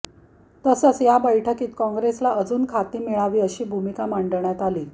तसंच या बैठकीत काँग्रेसला अजून खाती मिळावी अशी भूमिका मांडण्यात आली